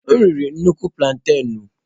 M riri nnukwu plantaịnụ.